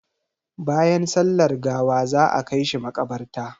Bayan sallar gawa za a kai shi maƙabarta.